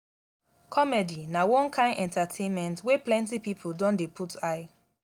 comedy na one kain entertainment wey plenty pipo don dey put eye.